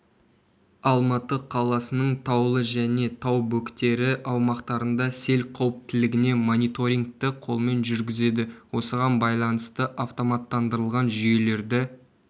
алматы қаласының таулы және тау бөктері аумақтарында сел қауіптілігіне мониторингті қолмен жүргізеді осыған байланысты автоматтандырылған жүйелерді